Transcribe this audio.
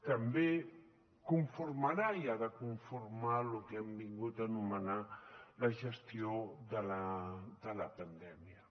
també conformarà i ha de conformar el que hem vingut a anomenar la gestió de la pandèmia